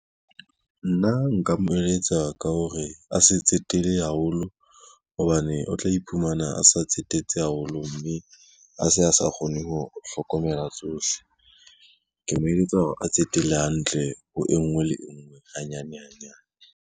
Nna nka mo eletsa ka hore, a se tsetele haholo hobane o tla iphumana a sa tsetetse haholo, mme a se a sa kgone ho hlokomela tsohle. Ke mo eletsa hore a tsetele hantle ho e ngwe le e ngwe, hanyane hanyane.